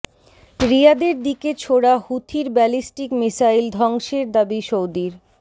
রিয়াদের দিকে ছোড়া হুথির ব্যালিস্টিক মিসাইল ধ্বংসের দাবি সৌদির